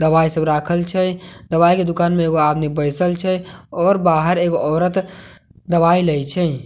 दवाई सब राखल छै दवाई के दुकान मे एगो आदमी बइसल छै आओर बहार एगो औरत दवाई लए छै।